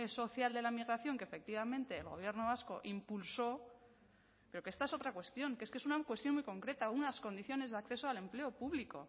social de la migración que efectivamente el gobierno vasco impulsó pero que esta es otra cuestión que es que es una cuestión muy concreta unas condiciones de acceso al empleo público